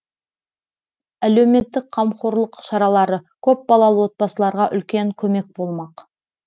әлеуметтік қамқорлық шаралары көпбалалы отбасыларға үлкен көмек болмақ